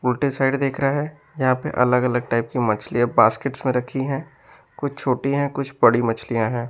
उल्टे साइड देख रहा है यहां पे अलग-अलग टाइप की मछलियां बास्केट्स में रखी हैं कुछ छोटी हैं कुछ बड़ी मछलियां हैं।